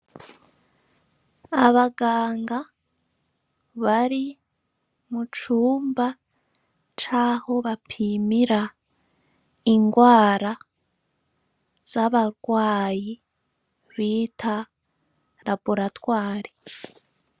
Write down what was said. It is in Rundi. Abaganga bari mu cumba c'aho bapimira ingwara z'abagwayi bita Raboratware.